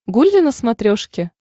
гулли на смотрешке